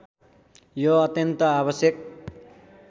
यो अत्यन्त आवश्यक